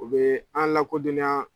O be an lakodɔnniya